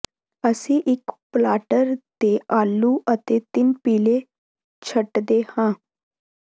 ਅਸੀਂ ਇੱਕ ਪਲਾਟਰ ਤੇ ਆਲੂ ਅਤੇ ਤਿੰਨ ਪੀਲੇ ਛੱਟਦੇ ਹਾਂ